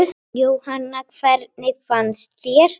Jóhanna: Hvernig finnst þér?